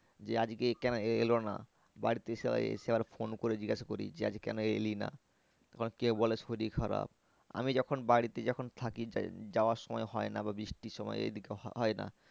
যে আজকে এ কেন এলো না? বাড়িতে এসে আবার phone করে জিজ্ঞাসা করি যে আজ কেন এলি না? আবার কেউ বলে শরীর খারাপ। আমি যখন বাড়িতে যখন থাকি যাওয়ার সময় হয় না বা বৃষ্টির সময় এইদিকে হয় না